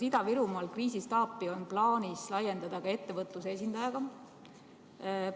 Kas Ida-Virumaa kriisistaapi on plaanis laiendada ka ettevõtluse esindajaga?